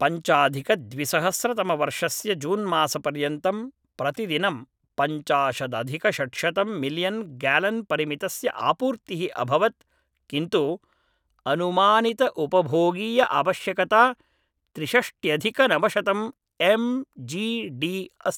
पञ्चाधिकद्विसहस्रतमवर्षस्य जून्मासपर्यन्तं प्रतिदिनं पञ्चाशदधिकषड्शतं मिलियन् ग्यालन् परिमितस्य आपूर्तिः अभवत् किन्तु अनुमानितउपभोगीयआवश्यकता त्रिषष्ट्यधिकनवशतं एम् जी डी अस्ति